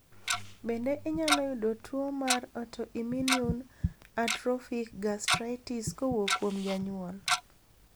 Bende inyalo yudo tuo mar autoimmune atrophic gastritis kowuok kuom janyuol?